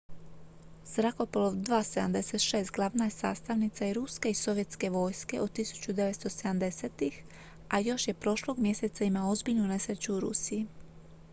zrakoplov il-76 glavna je sastavnica i ruske i sovjetske vojske od 1970-ih a još je prošlog mjeseca imao ozbiljnu nesreću u rusiji